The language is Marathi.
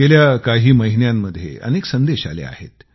गेल्या काही महिन्यांमध्ये अनेक संदेश आले आहेत